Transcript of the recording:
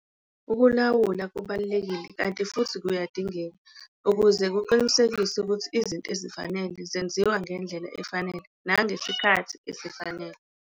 Ukulawula kubalulekile kanti futhi kuyadingeka ukuze kuqinisekiswe ukuthi izinto ezifanele zenziwa ngendlela efanele nangesikhathi esifanele.